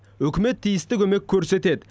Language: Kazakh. үкімет тиісті көмек көрсетеді